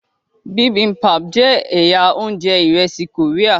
bibimpap jẹ ẹyà oúnjẹ iresi Korea.